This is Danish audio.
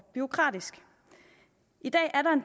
bureaukratisk i dag